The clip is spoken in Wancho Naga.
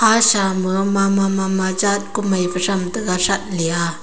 asha mama mama jet kumei phai tham tega that le a.